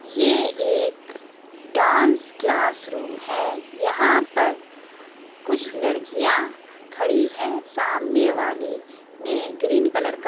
ये एक dance class room है यहाँ पर कुछ लड़कियाँ खड़ी हैं सामने वाली ने ग्रीन कलर का--